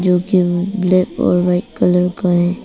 Black और white colour का है।